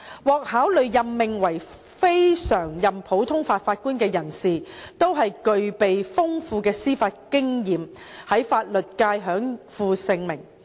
獲考慮任命為非常任普通法法官的人士，都是具備豐富的司法經驗、在法律界享負盛名。